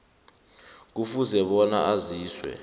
kufuze bona aziswe